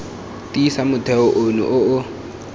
tiisa motheo ono o o